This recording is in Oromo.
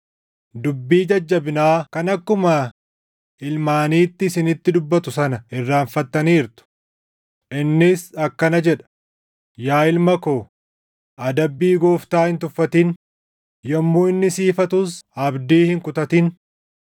Dubbii jajjabinaa kan akkuma ilmaaniitti isinitti dubbatu sana irraanfattaniirtu; innis akkana jedha: “Yaa ilma ko, adabbii Gooftaa hin tuffatin; yommuu inni si ifatus abdii hin kutatin;